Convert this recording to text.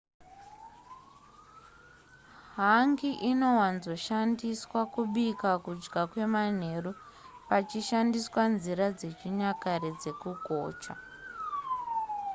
hangi inowanzoshandiswa kubika kudya kwemanheru pachishandiswa nzira dzechinyakare dzekugocha